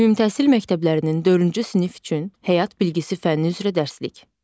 Ümümtəhsil məktəblərinin dördüncü sinif üçün həyat bilgisi fənni üzrə dərsliyik.